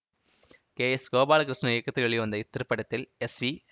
K S Gopalakrishnan இயக்கத்தில் வெளிவந்த இத்திரைப்படத்தில் எஸ் வி